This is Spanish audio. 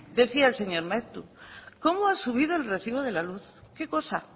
decía el señor maeztu cómo ha subido el recibo de la luz qué cosa